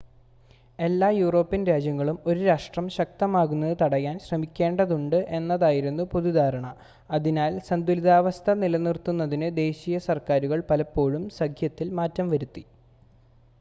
എല്ലാ യൂറോപ്യൻ രാജ്യങ്ങളും ഒരു രാഷ്ട്രം ശക്തമാകുന്നത് തടയാൻ ശ്രമിക്കേണ്ടതുണ്ട് എന്നതായിരുന്നു പൊതുധാരണ, അതിനാൽ സന്തുലിതാവസ്ഥ നിലനിർത്തുന്നതിന് ദേശീയ സർക്കാരുകൾ പലപ്പോഴും സഖ്യത്തിൽ മാറ്റം വരുത്തി